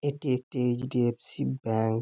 এটি একটি HDFC bank.